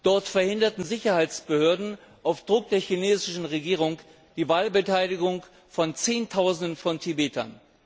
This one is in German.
Dort verhinderten Sicherheitsbehörden auf Druck der chinesischen Regierung die Wahlbeteiligung von Zehntausenden von Tibetern.